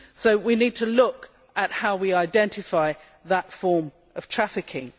So we need to look at how we identify that form of trafficking.